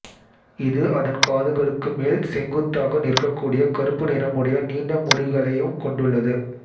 இது அதன் காதுகளுக்கு மேல் செங்குத்தாக நிற்க கூடிய கருப்பு நிறமுடைய நீண்ட முடிகளையும் கொண்டுள்ளது